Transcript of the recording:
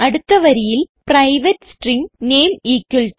അടുത്ത വരിയിൽ private string name Raju